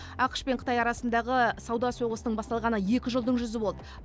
ақш пен қытай арасындағы сауда соғысының басталғанына екі жылдың жүзі болды